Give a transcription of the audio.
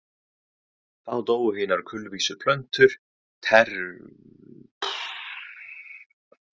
Þá dóu hinar kulvísu plöntur tertíertímabilsins út og áttu ekki afturkvæmt enda Ísland orðið eyja.